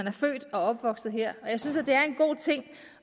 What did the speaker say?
er født og opvokset her